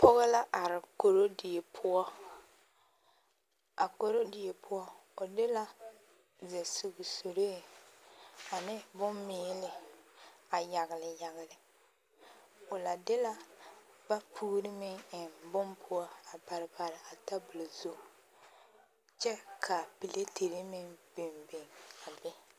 Pɔɡɔ la are korodie poɔ a korodie poɔ o de la zɛsuɡi suree ane bommiili a yaɡele yaɡele o la de la vapuuri meŋ eŋ bon poɔ a pare pare a tabuli zu kyɛ ka piletere meŋ biŋbiŋ a be.